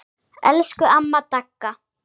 Elsku amma Dagga.